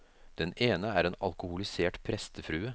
Den ene er en alkoholisert prestefrue.